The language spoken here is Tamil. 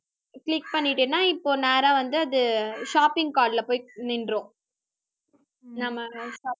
click பண்ணிட்டேன்னா, இப்போ நேரா வந்து, அது shopping card ல போய் நின்றும் நம்ம